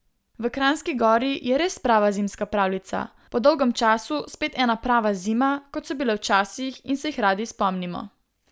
V Kranjski Gori je res prava zimska pravljica, po dolgem času spet ena prava zima, kot so bile včasih in se jih radi spomnimo.